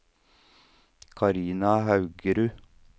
Karina Haugerud